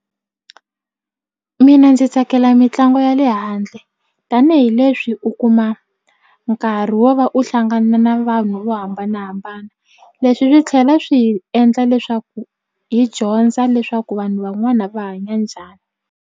Mina ndzi tsakela mitlangu ya le handle tanihileswi u kuma nkarhi wo va u hlangana na vanhu vo hambanahambana leswi swi tlhela swi hi endla leswaku hi dyondza leswaku vanhu van'wana va hanya njhani.